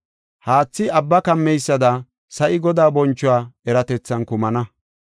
Abbi haathan kumeysada sa7i Godaa bonchuwa eratethan kumana.